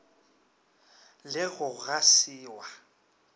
le go ga se wa